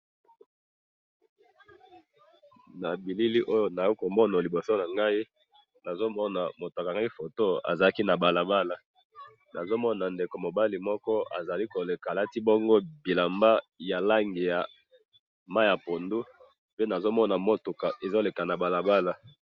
na bilili oyo nazali komona na liboso nangai, nazomona mutu akangaki photo, azalaki na balabala, nazomona ndeko mobali moko azali koleka, lati bongo bilamba ya langi ya mayi ya pondu, pe nazomona mutuka ezoleka na balabala